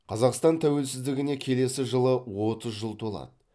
қазақстан тәуелсіздігіне келесі жылы отыз жыл толады